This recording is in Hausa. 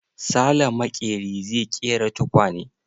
Sale maƙeri zai ƙera tukwane.